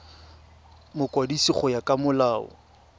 mokwadisi go ya ka molao